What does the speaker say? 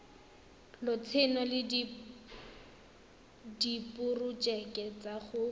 lotseno le diporojeke tsa go